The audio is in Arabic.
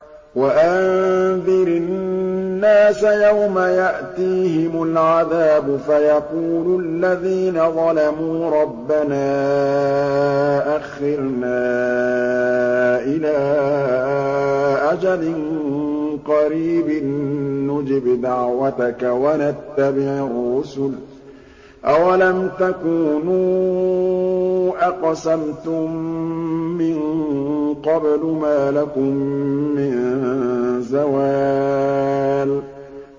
وَأَنذِرِ النَّاسَ يَوْمَ يَأْتِيهِمُ الْعَذَابُ فَيَقُولُ الَّذِينَ ظَلَمُوا رَبَّنَا أَخِّرْنَا إِلَىٰ أَجَلٍ قَرِيبٍ نُّجِبْ دَعْوَتَكَ وَنَتَّبِعِ الرُّسُلَ ۗ أَوَلَمْ تَكُونُوا أَقْسَمْتُم مِّن قَبْلُ مَا لَكُم مِّن زَوَالٍ